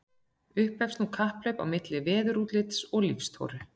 Upphefst nú kapphlaup á milli veðurútlits og líftóru.